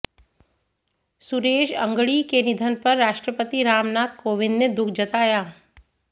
सुरेश अंगड़ी के निधन पर राष्ट्रपति रामनाथ कोविंद ने दुख जताया